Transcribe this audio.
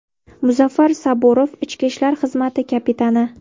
Muzaffar Saburov, ichki ishlar xizmati kapitani.